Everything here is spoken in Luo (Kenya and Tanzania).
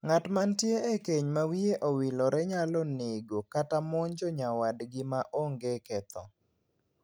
Ng'at mantie e keny ma wiye owilore nyalo nego nego kata monjo nyawadgi ma onge ketho.